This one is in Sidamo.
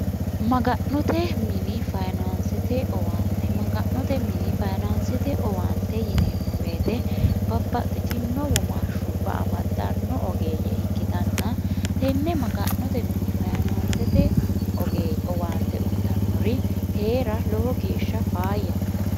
maga'note mini fayinaansete owaante maga'note mini fayinaansete owaante yineemmo weyite babbaxxitino womaa hshubba amaddanno ogeeyye ikkitanna tenne maga'note mini fayinaansete oge owaante uyitannori hee'ra lowo geeshsha faayyate